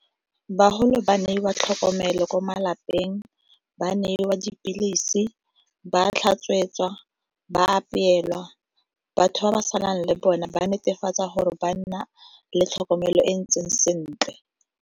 Baholo ba neiwa tlhokomelo ko malapeng, ba neiwa dipilisi, ba tlhatswetswa, ba apeelwa. Batho ba ba salang le bone ba netefatsa gore ba nna le tlhokomelo e e ntseng sentle.